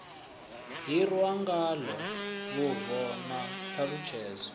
hirwa ngalo vhubvo na ṱhalutshedzo